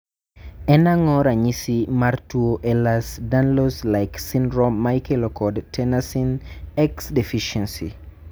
en ang'o ranyisi mar tuo Ehlers Danlos like Syndrome ma ikelo kod tenascin X deficiency?